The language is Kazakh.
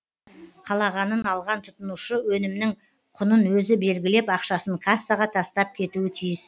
қалағанын алған тұтынушы өнімнің құнын өзі белгілеп ақшасын кассаға тастап кетуі тиіс